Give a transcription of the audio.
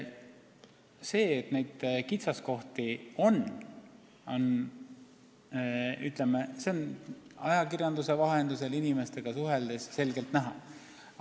Seda, et neid kitsaskohti on, on ajakirjanduse vahendusel ja inimestega suheldes selgelt näha.